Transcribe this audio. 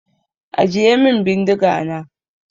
Ajiye min bindiga na!